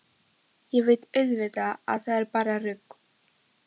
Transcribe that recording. Ég veit auðvitað að það er bara rugl.